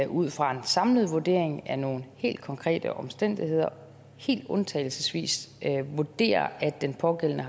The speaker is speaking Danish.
ud fra en samlet vurdering af nogle helt konkrete omstændigheder helt undtagelsesvis vurderer at den pågældende